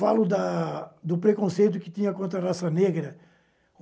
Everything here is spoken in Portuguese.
Falo da do preconceito que tinha contra a raça negra.